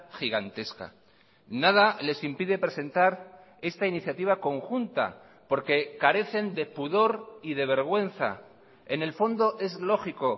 gigantesca nada les impide presentar esta iniciativa conjunta porque carecen de pudor y de vergüenza en el fondo es lógico